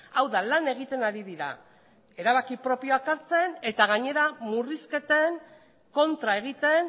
hau da lan egiten ari dira erabaki propioak hartzen eta gainera murrizketen kontra egiten